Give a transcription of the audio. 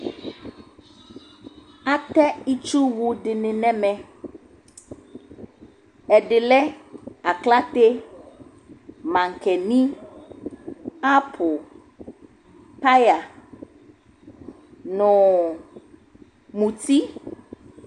Atɛ itsuwʋ dɩnɩ n'ɛmɛ: ɛdɩ lɛ aklǝte, maŋkeni, apʋ, paya n'ɔɔ muti